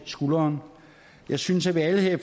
skulderen jeg synes at vi alle her i